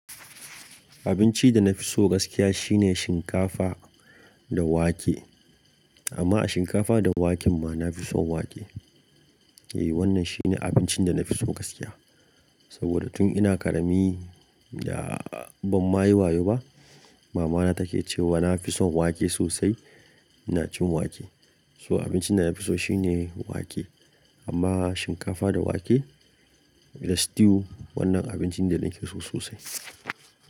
Abinci da na fi so gaskiya shine shinkafa da wake. Amma a shinkafa da waken ma na fi son wake. Eh, wannan shine abincin da na fi so gaskiya. Saboda tun ina ƙarami da ban ma yi wayo ba, mamana take cewa na fi son wake sosai, ina cin wake. So abincin da na fi so shine wake. Amma shinkafa da wake da stew wannan abincin da na fi so sosai.